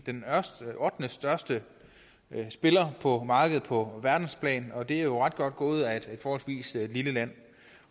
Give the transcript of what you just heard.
ottendestørste spiller på markedet på verdensplan og det er jo ret godt gået af et forholdsvis lille land